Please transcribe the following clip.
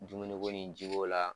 Dumuni ko ni ji ko la